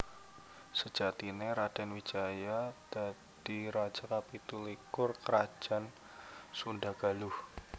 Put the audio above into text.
Sejatiné Radèn Wijaya dadi raja kapitu likur Krajan Sundha Galuh